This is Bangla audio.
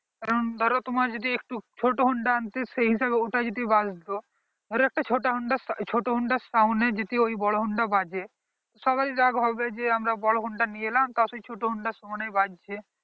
কারণ ধরো তোমার যদি একটু ছোট honda আনতে সেই হিসাবে ওটা যদি বাজতো ধরো একটা ছোট honda ছোট sound আর honda এ যদি ওই বোরো honda বাজে সবাড়ির রাগ হবে যে আমরা বোরো honda নিয়ে এলাম তাও সেই ছোট honda সমানে বাজছে